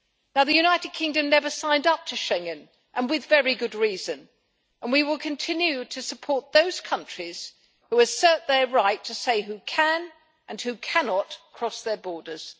The United Kingdom never signed up to Schengen, and with very good reason, and we will continue to support those countries who assert their right to say who can, and who cannot, cross their borders.